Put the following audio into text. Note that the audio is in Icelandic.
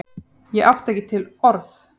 Ég átti ekki til orð!